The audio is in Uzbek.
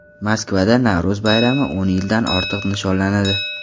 Moskvada Navro‘z bayrami o‘n yildan ortiq nishonlanadi.